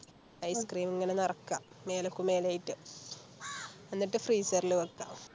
Ice cream ഇങ്ങനെ നിറക്ക മേലക്കു മേലേയായിറ്റ് എന്നിട്ട് Freezer ല് വെക്ക